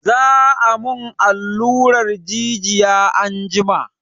Za a mun alluran jijiya anjima.